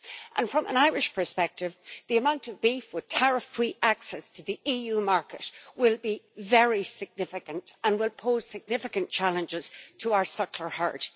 And from an Irish perspective, the amount of beef with tariff-free access to the EU market will be very significant, and would pose significant challenges to our suckler herd.